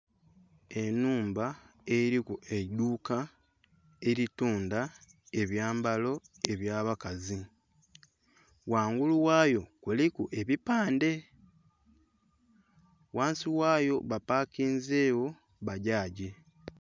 Enhumba eriku eidhuuka eritundha ebyambalo ebyabakazi ghangulu wayo kuliku ekipande wansi wayo bapakizegho bagyagi.